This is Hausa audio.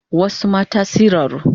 Wasu mata siraru